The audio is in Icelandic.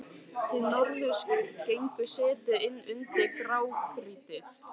Til norðurs gengur setið inn undir grágrýtið.